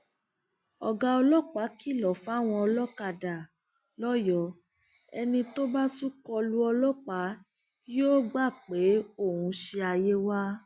ọgá ọlọpàá kìlọ fáwọn olókàdá lọyọọ ẹni tó bá tún kọ lu ọlọpàá yóò gbà pé òun ṣí ayé wa